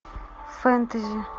фэнтези